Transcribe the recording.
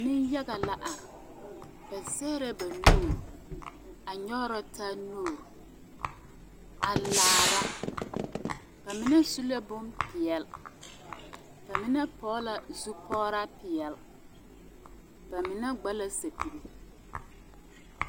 Nenyaga la are ba zɛgrɛ ba nuuri a nyɔgrɔ taa nuuri a laara ba mine su la bompeɛle ba mine pɔge la zupɔgraa peɛle ba mine gba la sapigi.